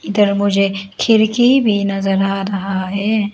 इधर मुझे खिड़की भी नजर आ रहा है।